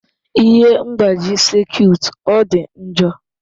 Ihe mgbaji sekit ọ dị njọ?